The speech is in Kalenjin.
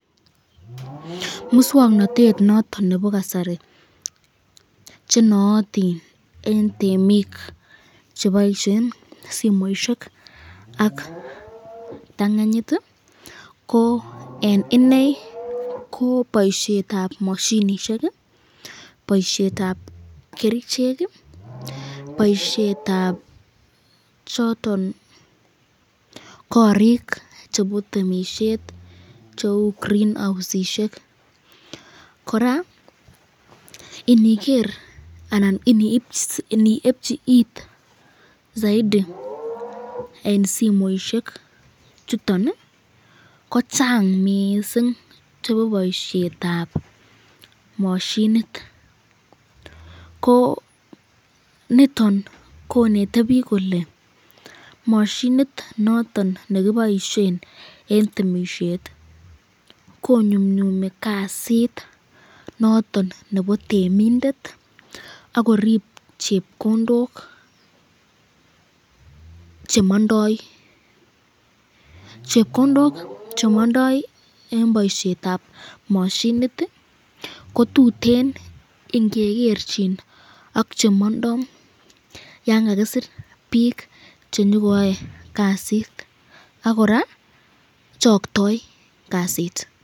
Muswoknotet noton nebo kasari chenootin eng temik cheboisyen simoisyek ak kiptanganyit ko eng inei ko boisyetab mashinishek, boisyetab kerichek, boisyetab choton korik chebo temisyet cheu greenhousishek ,koraa iniger anan ini ebchi it saiti eng simoisyek chuton ko Chang mising chebo boisyetab mashinit ,ko nitoni konete bik kole, mashinit noton nekiboisyen eng temisyet ko nyumnyumi kasit noton nebo temindet akorib chepkondok chemondoi , chepkondok chemondoi eng boisyetab mashinit ko tuteno ingegerchin ak chemondoi yan kakisir bik chenyokoyae kasit, ak koraa choktoi kasit.